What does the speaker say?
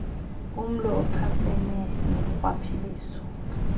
umlo ochasene norhwaphilizo